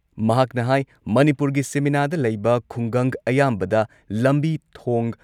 ꯃꯍꯥꯛꯅ ꯍꯥꯏ ꯃꯅꯤꯄꯨꯔꯒꯤ ꯁꯤꯃꯤꯅꯥꯗ ꯂꯩꯕ ꯈꯨꯡꯒꯪ ꯑꯌꯥꯝꯕꯗ ꯂꯝꯕꯤ ꯊꯣꯡ,